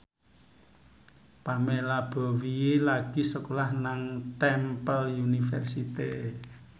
Pamela Bowie lagi sekolah nang Temple University